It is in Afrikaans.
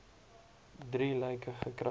drie lyke gekry